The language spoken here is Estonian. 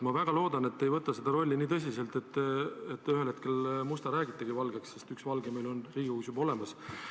Ma väga loodan, et te ei võta seda rolli nii tõsiselt, et ühel hetkel räägitegi Musta Valgeks, sest üks Valge on meil Riigikogus juba olemas.